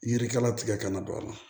Yirikala tigɛ kana don a la